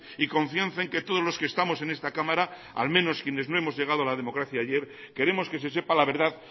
y confianza en que todos los que estamos en esta cámara al menos quienes no hemos llegado a la democracia ayer queremos que se sepa la verdad